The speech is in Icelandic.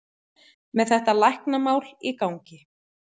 Með þetta læknamál í gangi.